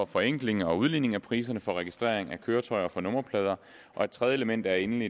forenkling og udligning af priserne for registrering af køretøjer og for nummerplader og et tredje element er endelig